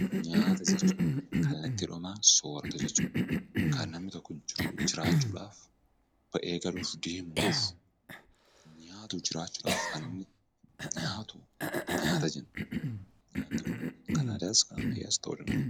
Nyaata jechuun kallattiidhumaan soorata jechuu dha. Kan namni tokko jiraachuudhaaf, ba'ee galuuf, deemuuf nyaatu jiraachuudhaaf kan inni nyaatu nyaata jenna. Nyaati kun kan aadaas kan ammayyaas ta'uu danda'a.